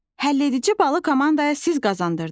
Həlledici balı komandaya siz qazandırdınız.